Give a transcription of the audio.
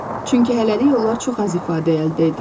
Çünki hələlik onlar çox az ifadə əldə ediblər.